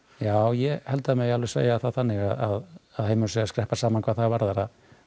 já ég held að það megi alveg segja það þannig að heimurinn sé að skreppa saman hvað það varðar að